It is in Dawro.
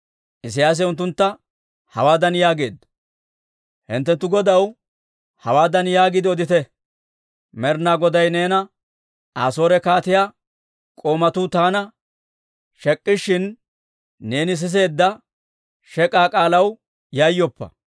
Isiyaasi unttuntta hawaadan yaageedda; «Hinttenttu godaw hawaadan yaagiide odite; ‹Med'ina Goday neena, «Asoore kaatiyaa k'oomatuu taana shek'ishshin, neeni siseedda shek'k'aa k'aalaw yayyoppa.